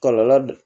Kɔlɔlɔ dɔ